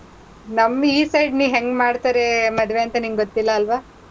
ನಮ್ ಈ side ನೀ ಹೆಂಗ್ ಮಾಡ್ತಾರೆ ಮದ್ವೆಂತ ನಿಂಗ್ ಗೊತ್ತಿಲ್ಲ ಅಲ್ವಾ?